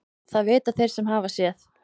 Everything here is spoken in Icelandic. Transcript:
Það vita þeir sem hafa séð.